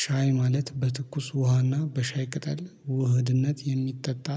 ሻይ ማለት በትኩስ ውሃና በሻይ ቅጠል ውህድነት የሚጠጣ